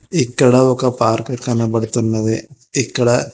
ఇక్కడ ఒక పార్కు కనపడుతున్నది ఇక్కడ--